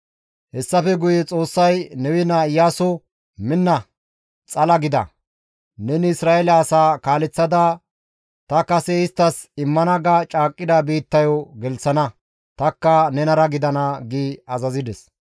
Hessafe guye Xoossay Nawe naa Iyaaso, «Minna; xala gida; neni Isra7eele asaa kaaleththada ta kase isttas immana ga caaqqida biittayo gelththana; tanikka nenara gidana» gi azazides.